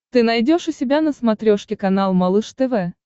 ты найдешь у себя на смотрешке канал малыш тв